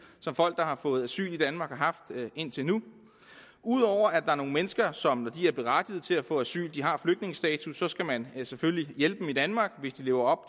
som folk der har fået asyl i danmark har haft indtil nu ud over at er nogle mennesker som er berettigede til at få asyl de har flygtningestatus og så skal man selvfølgelig hjælpe dem i danmark hvis de lever